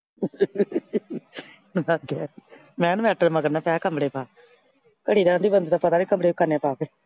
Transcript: ਮੈਂ ਉਹਨੂੰ ਆਖਿਆ ਮਗਰ ਨਾ ਪਏ। ਕਮਰੇ ਪਾ ਘੜੀ ਦਾ ਆਂਹਦੀ ਬੰਦੇ ਦਾ ਪਤਾ ਨਈਂ ਕਮਰੇ ਕੀ ਕਰਨੇ ਆ ਪਾ ਕੇ।